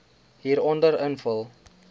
hieronder invul